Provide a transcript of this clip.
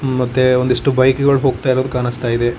ಮತ್ತೆ ಒಂದಿಷ್ಟು ಬೈಕ್ ಗಳು ಹೋಗ್ತಿರೋದು ಕಾಣಿಸ್ತಾ ಇದೆ.